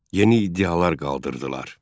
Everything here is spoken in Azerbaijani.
Yeni iddialar qaldırdılar.